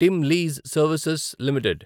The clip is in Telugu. team lease Services limited